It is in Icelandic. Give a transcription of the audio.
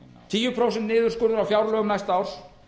tíu prósent niðurskurður á fjárlögum næsta árs